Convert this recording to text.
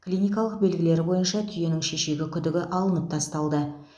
клиникалық белгілері бойынша түйенің шешегі күдігі алынып тасталды